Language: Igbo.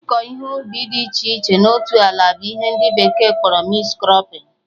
Ịkọ ihe ubi dị iche iche na otu ala bụ ihe ndị bekee kpọrọ mixed crọpping